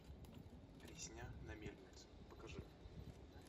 резня на мельнице покажи